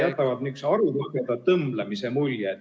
... ja jätavad nihukese arulageda tõmblemise mulje.